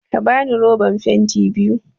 Ka bani roban fenti biyu!